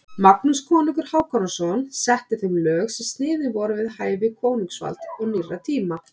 Magnús konungur Hákonarson setti þeim lög sem sniðin voru við hæfi konungsvalds og nýrra tíma.